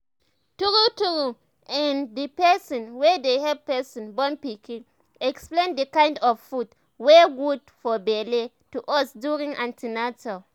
tru tru ehnthe person wey dey help person born pikin explain the kind of foods wey good for belle to us during an ten atal